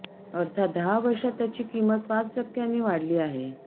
अर्थात दहा वर्षात त्याची किमत पाच टक्क्याने वाढली आहे